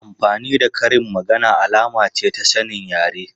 Amfani da karin magana alama ce ta sanin yare.